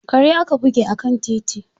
Kare aka buge a kan titi.